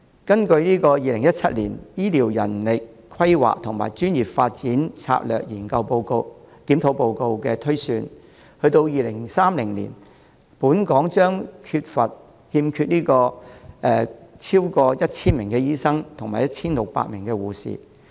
據2017年《醫療人力規劃和專業發展策略檢討報告》的推算，至2030年本港將欠缺超過 1,000 名醫生及 1,600 名護士。